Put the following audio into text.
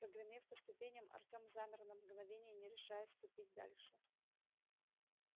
прогремев по ступеням артём замер на мгновение не решаясь ступить дальше